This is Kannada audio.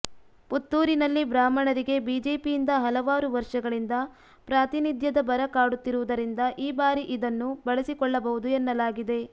ಪುತ್ತೂರಿನಲ್ಲಿ ಬ್ರಾಹ್ಮಣರಿಗೆ ಬಿಜೆಪಿಯಿಂದ ಹಲವಾರು ವರ್ಷಗಳಿಂದ ಪ್ರಾತಿನಿಧ್ಯದ ಬರ ಕಾಡುತ್ತಿರುವುದರಿಂದ ಈ ಬಾರಿ ಇದನ್ನು ಬಳಸಿಕೊಳ್ಳಬಹುದು ಎನ್ನಲಾಗಿದೆ